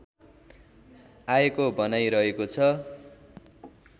आएको भनाइ रहेको छ